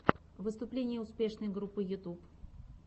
выступление успешной группы ютюб